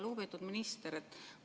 Lugupeetud minister!